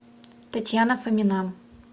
татьяна фомина